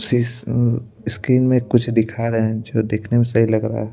Screen में कुछ दिखा रहे हैं जो देखने में सही लग रहा है।